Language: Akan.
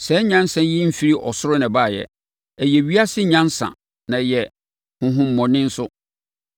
Saa nyansa yi mfiri ɔsoro na ɛbaeɛ. Ɛyɛ ewiase nyansa na ɛyɛ honhommɔne nso.